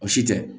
O si tɛ